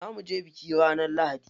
Za muje biki ranar lahadi.